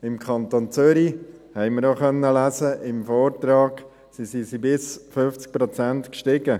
Im Kanton Zürich – dies konnten wir im Vortrag lesen – stiegen sie um bis zu 50 Prozent an.